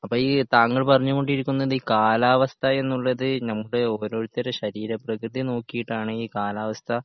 അപ്പോ ഈ താങ്കൾ പറഞ്ഞു കൊണ്ടിരിക്കുന്നത് ഈ കാലാവസ്ഥ എന്നുള്ളത് നമ്മുടെ ഓരോരുത്തരുടെ ശരീരപ്രകൃതി നോക്കിയിട്ടാണ് ഈ കാലാവസ്ഥ